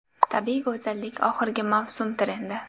Tabiiy go‘zallik oxirgi mavsum trendi.